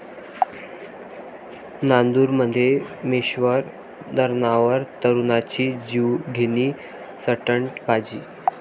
नांदूरमध्यमेश्वर धरणावर तरुणाची जीवघेणी स्टंटबाजी